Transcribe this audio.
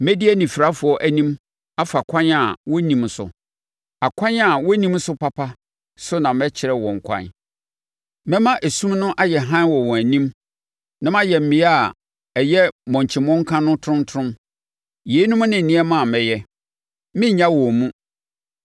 Mɛdi anifirafoɔ anim afa ɛkwan a wɔnnim so, akwan a wɔnnim so papa so na mɛkyerɛ wɔn kwan. Mɛma esum no ayɛ hann wɔ wɔn anim, na mayɛ mmea a ɛyɛ mmomkyi mmɔnka no tromtrom. Yeinom ne nneɛma a mɛyɛ; merennya wɔn mu.